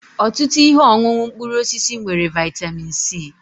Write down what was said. Ọtụtụ ihe ọṅụṅụ mkpụrụ osisi nwere vịatamin c.